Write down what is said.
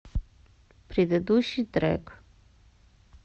предыдущий трек